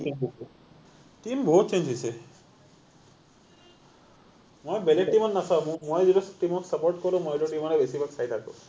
change হৈছে, team বহুত change হৈছে মই বেলেগ team ক নাচাও, মই যিটো team ক support কৰো মই সেইটো team ৰে বেছি ভাগ চাই থাকো